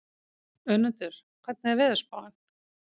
Önundur, hvernig er veðurspáin?